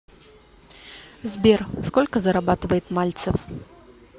сбер сколько зарабатывает мальцев